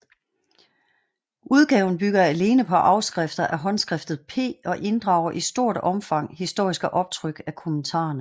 Udgaven bygger alene på afskrifter af håndskriftet P og inddrager i stort opfang historiske optryk af kommentarerne